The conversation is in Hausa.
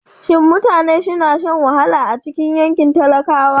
Shin mutane suna shan wahala a cikin yankin talakawa?